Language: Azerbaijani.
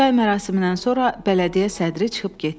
Çay mərasimindən sonra bələdiyyə sədri çıxıb getdi.